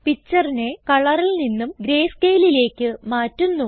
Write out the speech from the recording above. Pictureനെ കളറിൽ നിന്നും greyscaleലേക്ക് മാറ്റുന്നു